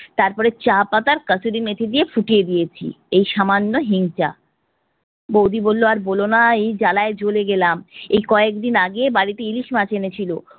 তারপর চা পাতা আর কাসুরি মেথি দিয়ে ফুটিয়ে দিয়েছি, এই সামান্য হিং চা। বৌদি বললো আর বলোনা এই জ্বালায় জ্বলে গেলাম, এই কয়েকদিন আগে বাড়িতে ইলিশ মাছ এনেছিল,